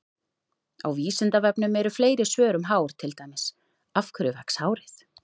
Á Vísindavefnum eru fleiri svör um hár, til dæmis: Af hverju vex hárið?